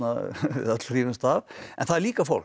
öll hrífumst af en það er líka fólk